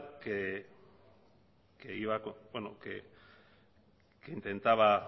que intentaba